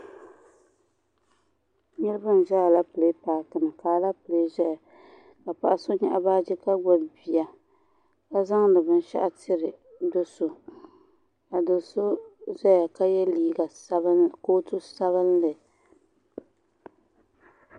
Niriba n za alɛpilɛ paaki ni ka alɛpilɛ ʒɛya ka paɣa so nyaɣi baaji ka gbubi bia ka zaŋ di binshaɣu tiri doo so ka doo so zaya ka yɛ liiga sabinli kootu sabinli.